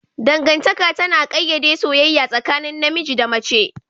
Dangantaka tana ƙayyade soyayya tsakanin namiji da mace